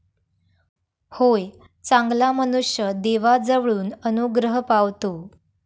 होय, चांगला मनुष्य देवाजवळून अनुग्रह पावतो.